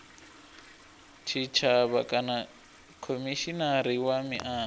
tshitshavha kana khomishinari wa miano